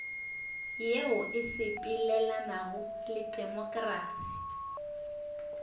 yeo e sepelelanago le temokrasi